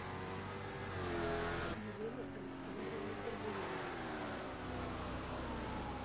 елена александровна горбунова